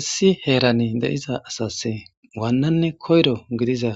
Issi heerane deiza asas waannanne koyro gidiza